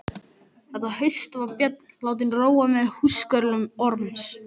Þetta haust var Björn látinn róa með húskörlum Orms.